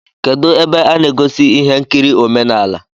Kedụ ebe a na egosi ihe nkiri omenala?